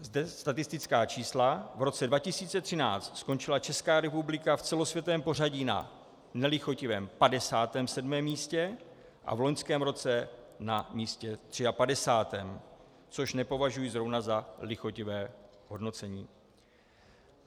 Zde statistická čísla - v roce 2013 skončila Česká republika v celosvětovém pořadí na nelichotivém 57. místě a v loňském roce na místě 53., což nepovažuji zrovna za lichotivé hodnocení.